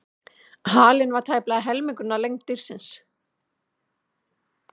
Halinn var tæplega helmingur af lengd dýrsins.